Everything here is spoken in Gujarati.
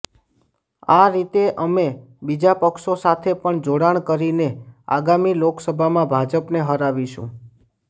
આ રીતે અમે બીજા પક્ષો સાથે પણ જોડાણ કરીને આગામી લોકસભામાં ભાજપને હરાવીશું